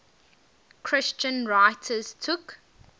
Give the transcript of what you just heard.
christian writers took